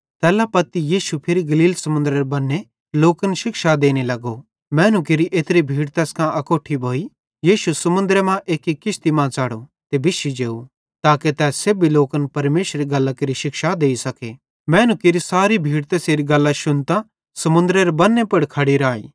तैल्ला पत्ती यीशु फिरी गलील समुन्दरेरे बन्ने लोकन शिक्षा देने लगो मैनू केरि एत्री भीड़ तैस कां अकोट्ठी भोइ यीशु समुन्दरे मां एक्की किश्ती मां च़ढ़ो ते बिश्शी जेव ताके तै सेब्भी लोकन परमेशरेरी गल्लां केरि शिक्षा देइ सके मैनू केरि सारी भीड़ तैसेरी गल्लां शुन्तां समुन्दरेरे बन्ने पुड़ खड़ी राई